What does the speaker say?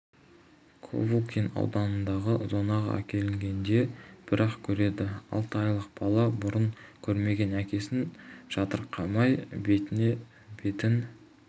ковылкин ауданындағы зонаға әкелгенде бір-ақ көреді алты айлық бала бұрын көрмеген әкесін жатырқамай бетіне бетін